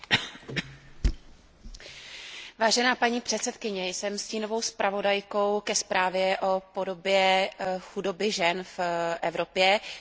Paní předsedající, jsem stínovou zpravodajkou pro zprávu o podobě chudoby žen v Evropě, tudíž se zaměřím na tuto zprávu.